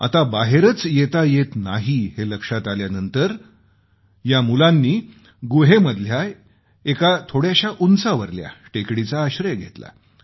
आता बाहेरच येता येत नाही हे लक्षात आल्यानंतर या मुलांनी गुहेमधल्या एका थोड्याशा उंचावर आश्रय घेतला